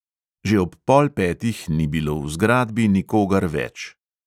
Že ob pol petih ni bilo v zgradbi nikogar več.